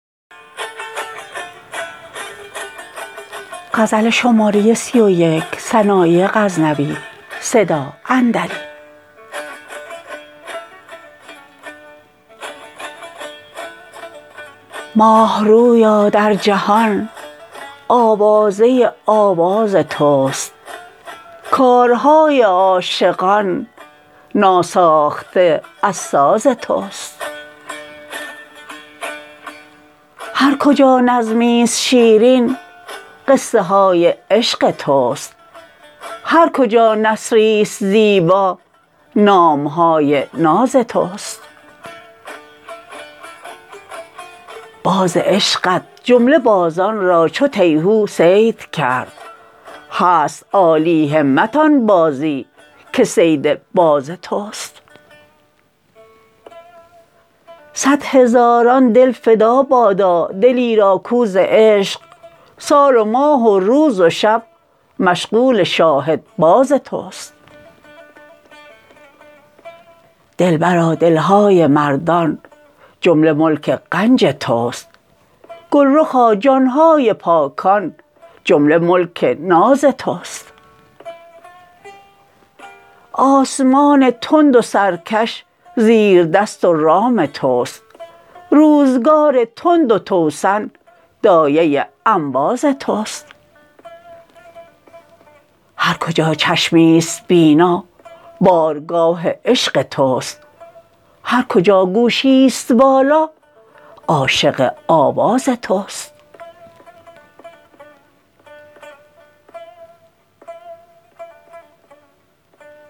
ماهرویا در جهان آوازه آواز تست کارهای عاشقان ناساخته از ساز تست هر کجا نظمیست شیرین قصه های عشق تست هر کجا نثریست زیبا نام های ناز تست باز عشقت جمله بازان را چو تیهو صید کرد هست عالی همت آن بازی که صید باز تست صدهزاران دل فدا بادا دلی را کاو ز عشق سال و ماه و روز و شب مشغول شاهدباز تست دلبرا دل های مردان جمله ملک غنج تست گلرخا جان های پاکان جمله ملک ناز تست آسمان تند و سرکش زیردست و رام تست روزگار تند و توسن دایه انباز تست هر کجا چشمیست بینا بارگاه عشق تست هر کجا گوشیست والا عاشق آواز تست